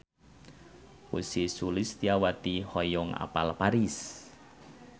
Ussy Sulistyawati hoyong apal Paris